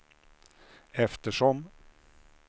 eftersom